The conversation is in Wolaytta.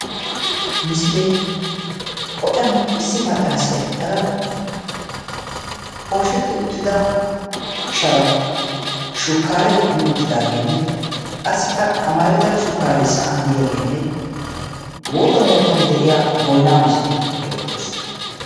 Ha misilee qoccan issi maccaasiya eqada poosheti uttida sharan shukaare kumi uttidaagenne qassikka amarida shukaare sa'an diyaagenne wotuwan wotuwan diya boynaa misilee beetees.